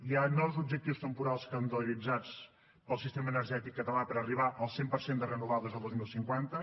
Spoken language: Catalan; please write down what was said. hi ha nous objectius temporals calendaritzats pel sistema energètic català per a arribar al cent per cent de renovables el dos mil cinquanta